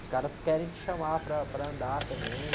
Os caras querem te chamar para, para andar também.